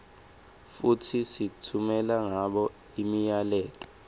futsi sitfumela ngabo imiyaleto